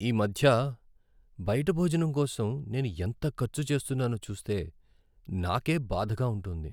ఈమధ్య బయిట భోజనం కోసం నేను ఎంత ఖర్చు చేస్తున్నానో చూస్తే నాకే బాధగా ఉంటోంది.